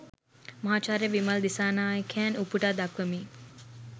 මහාචාර්ය විමල් දිසානායකයන් උපුටා දක්වමි